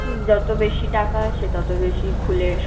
উম যত বেশি টাকা সে ততো বেশি খুলে